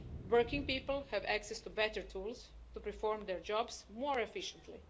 Working people have access to better tools to perform their jobs more efficiently.